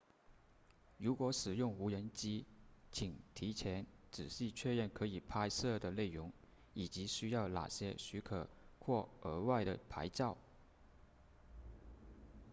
如果使用无人机请提前仔细确认可以拍摄的内容以及需要哪些许可或额外的牌照